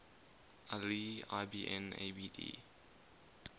ali ibn abd